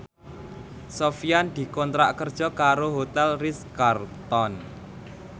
Sofyan dikontrak kerja karo Hotel Ritz Carlton